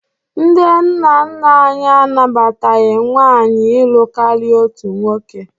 Ndị nna nna anyị anabataghị nwaanyị ịlụ karịa otu nwoke